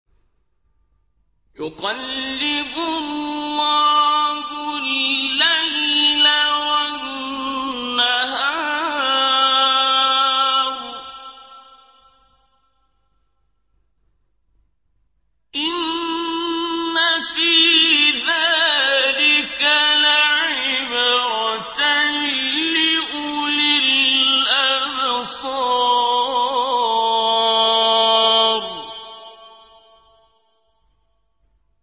يُقَلِّبُ اللَّهُ اللَّيْلَ وَالنَّهَارَ ۚ إِنَّ فِي ذَٰلِكَ لَعِبْرَةً لِّأُولِي الْأَبْصَارِ